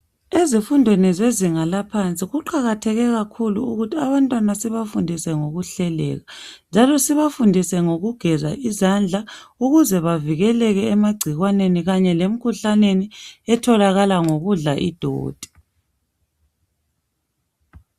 Ezifundweni zezinga laphansi kuqakatheke kakhulu ukuthi abantwana sibafundise ngokuhleleka njalo sibafundise ngokugeza izandla ukuze bevikeleke emagcikwaneni kanye lemikhuhlaneni etholakala ngokudla idoti.